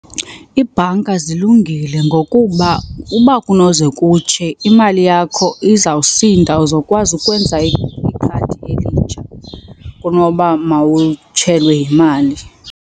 Iibhanka zilungile ngokuba uba kunoze kutshe imali yakho izawusinda, uzokwazi ukwenza ikhadi elitsha kunoba mawutshelwe yimali.